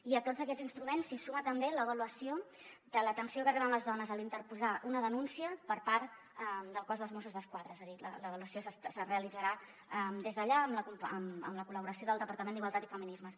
i a tots aquests instruments s’hi suma també l’avaluació de l’atenció que reben les dones a l’interposar una denúncia per part del cos dels mossos d’esquadra és a dir l’avaluació es realitzarà des d’allà amb la col·laboració del departament d’igualtat i feminismes